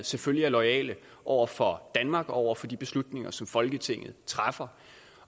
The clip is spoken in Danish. selvfølgelig er loyale over for danmark og over for de beslutninger som folketinget træffer